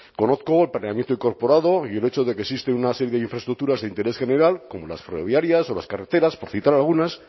conozco el planeamiento incorporado y el hecho de que existe una serie de infraestructuras de interés general como las ferroviarias o las carreteras por citar algunas